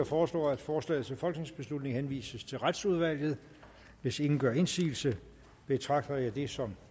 foreslår at forslaget til folketingsbeslutning henvises til retsudvalget hvis ingen gør indsigelse betragter jeg det som